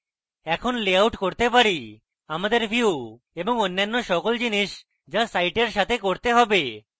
এখন লেআউট করতে পারি আমাদের views এবং অন্যান্য সকল জিনিস যা সাইটের সাথে করতে হবে